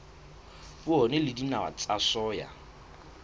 poone le dinawa tsa soya